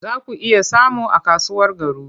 Za ku iya samu a kasuwar Garu.